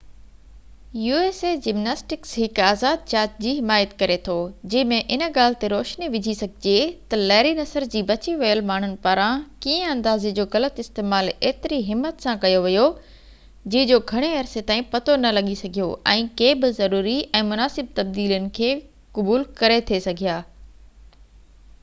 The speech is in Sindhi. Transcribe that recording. usa جمناسٽڪس هڪ آزاد جاچ جي حمايت ڪري ٿو جنهن ۾ ان ڳالهہ تي روشني وجهي سگهجي ٿي تہ ليري نصر جي بچي ويل ماڻهن پاران ڪيئن اندازي جو غلط استعمال ايتري همت سان ڪيو ويو جنهن جو گهڻي عرصي تائين پتو نہ لڳي سگهيو ۽ ڪي بہ ضروري ۽ مناسب تبديلين کي قبول ڪري ٿي سگهيا